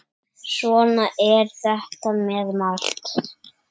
Svona er þetta með margt.